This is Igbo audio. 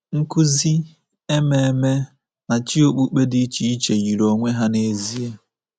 Nkụzi, ememe, na chi okpukpe dị iche iche yiri onwe ha n’ezie.